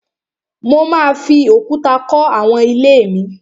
Mo máa fi òkúta kọ́ àwọn ilé mi